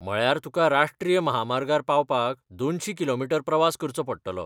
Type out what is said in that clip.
म्हळ्यार तुका राश्ट्रीय म्हामार्गार पावपाक दोनशी किलोमीटर प्रवास करचो पडटलो.